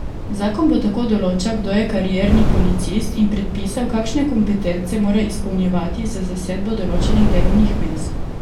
Zakon bo tako določal, kdo je karierni policist, in predpisal, kakšne kompetence mora izpolnjevati za zasedbo določenih delovnih mest.